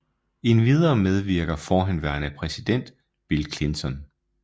Endvidere medvirker forhenværende præsident Bill Clinton